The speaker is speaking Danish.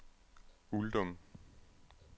Uldum